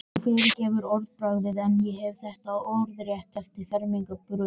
Þú fyrirgefur orðbragðið en ég hef þetta orðrétt eftir fermingarbarninu.